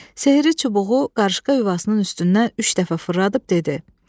Sehri çubuğu qarışqa yuvasının üstündən üç dəfə fırladıb dedi: